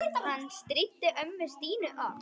Hann stríddi ömmu Stínu oft.